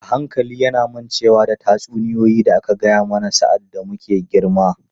A hankali yana mancewa da duk tatsuniyoyi da aka gaya mana sa’ad da muke girma.